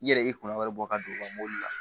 I yɛrɛ i kunna wari bɔ ka don mobili la